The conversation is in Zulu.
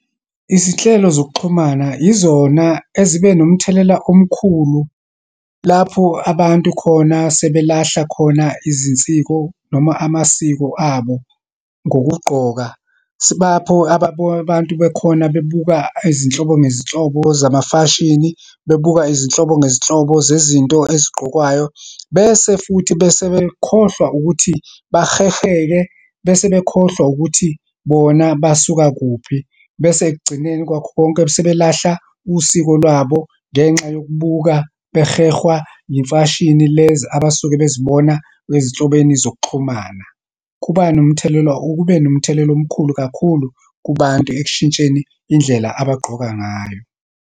Izinhlelo zokuxhumana, yizona ezibe nomthelela omkhulu, lapho abantu khona sebelahla khona izinsiko, noma amasiko abo ngokugqoka. Sibapho abantu bekhona bebuka izinhlobo ngezinhlobo zamafashini, bebuka izinhlobo ngezinhlobo zezinto ezigqokwayo, bese futhi bese bekhohlwa ukuthi baheheke, bese bekhohlwa ukuthi bona basuka kuphi. Bese ekugcineni kwakho konke sebelahla usiko lwabo, ngenxa yokubuka, behehwa imfashini lezi abasuke bezibona ezihlobeni zokuxhumana. Kuba nomthelela, kube nomthelelo omkhulu kakhulu kubantu ekushintsheni indlela abagqoka ngayo.